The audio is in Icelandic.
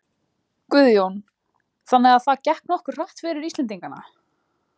Guðjón: Þannig að það gekk nokkuð hratt fyrir Íslendingana?